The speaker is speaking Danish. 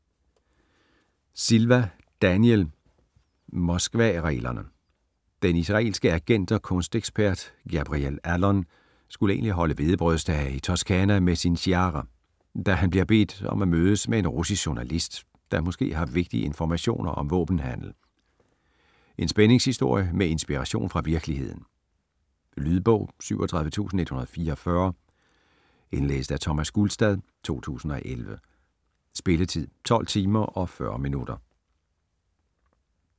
Silva, Daniel: Moskvareglerne Den israelske agent og kunstekspert Gabriel Allon skulle egentlig holde hvedebrødsdage i Toscana med sin Shiara, da han bliver bedt om at mødes med en russisk journalist, der måske har vigtige informationer om våbenhandel. En spændingshistorie med inspiration fra virkeligheden. Lydbog 37144 Indlæst af Thomas Gulstad, 2011. Spilletid: 12 timer, 40 minutter.